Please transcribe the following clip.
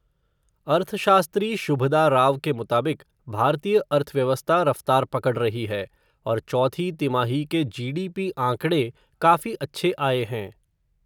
अर्थशास्त्री, शुभदा राव के मुताबिक, भारतीय अर्थव्यवस्था रफ़्तार पकड़ रही है, और चौथी तिमाही के जीडीपी आंकड़े, काफ़ी अच्छे आए हैं.